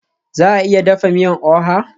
Za a iya dafa miyan oha?